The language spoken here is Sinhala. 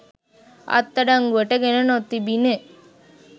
අත්අඩංගුවට ගෙන නොතිබිණි.